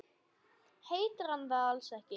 Heitir hann það alls ekki?